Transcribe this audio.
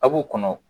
A b'u kɔnɔ